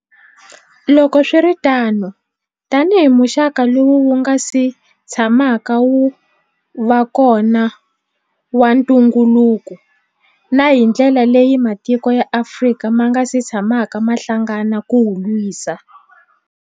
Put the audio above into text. Loko swi ri tano, tanihi muxaka lowu wu nga si tshamaka wu va kona wa ntungukulu, na hi ndlela leyi matiko ya Afrika ma nga si tshamaka ma hlangana ku wu lwisa.